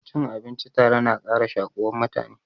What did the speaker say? Cin abinci tare na ƙara shakuwan mutane.